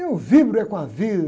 Eu vibro é com a vida.